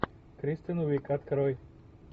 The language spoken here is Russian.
кристен уиг открой